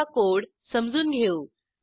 आता कोड समजून घेऊ